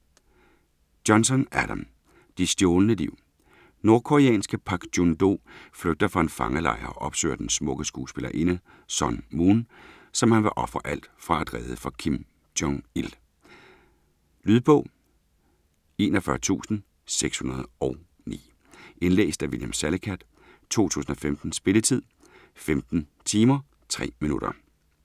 Johnson, Adam: De stjålne liv Nordkoreanske Pak Jun Do flygter fra en fangelejr og opsøger den smukke skuespillerinde, Sun Moon, som han vil ofre alt for at redde fra Kim Jong-Il. Lydbog 41609 Indlæst af William Salicath, 2015. Spilletid: 15 timer, 3 minutter.